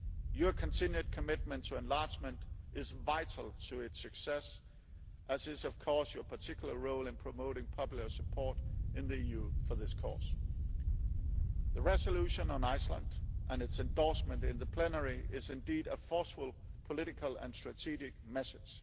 Your continued commitment to enlargement is vital to its success as is, of course, your particular role in promoting popular support in the EU for this cause. The resolution on Iceland and its endorsement in plenary is indeed a forceful political and strategic message.